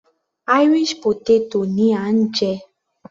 Irish potato ni à ń jẹ.